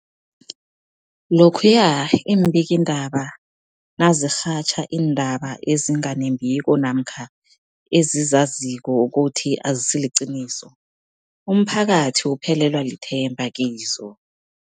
Lokhuya iimbikiindaba nazirhatjha iindaba ezinga nembiko namkha ezizaziko ukuthi azisiliqiniso, umphakathi uphelelwa lithemba kizo.